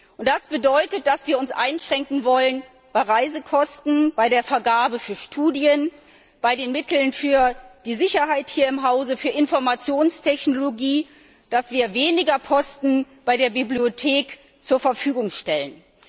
Und das bedeutet, dass wir uns einschränken wollen bei Reisekosten, bei der Vergabe für Studien, bei den Mitteln für die Sicherheit hier im Hause, für Informationstechnologie, dass wir weniger Posten für die Bibliothek zur Verfügung stellen.